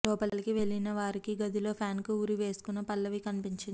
లోపలికి వెళ్లిన వారికి గదిలో ఫ్యాన్కు ఉరి వేసుకున్న పల్లవి కనిపించింది